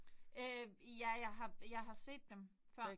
Øh ja jeg har jeg har set dem før